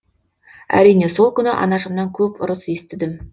әрине сол күні анашымнан көп ұрыс естідім